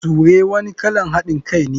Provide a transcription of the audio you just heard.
Sure wani kalan hadin Kai ne.